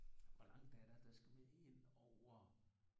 Hvor langt er der der skal man indover